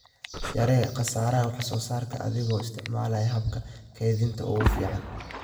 Yaree khasaaraha wax-soo-saarka adiga oo isticmaalaya hababka kaydinta ugu fiican.